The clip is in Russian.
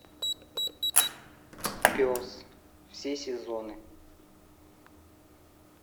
пес все сезоны